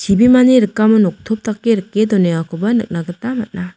chibimani rikamo noktop dake rike donengakoba nikna gita man·a.